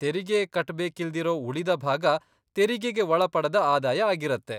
ತೆರಿಗೆ ಕಟ್ಬೇಕಿಲ್ದಿರೋ ಉಳಿದ ಭಾಗ ತೆರಿಗೆಗೆ ಒಳಪಡದ ಆದಾಯ ಆಗಿರತ್ತೆ.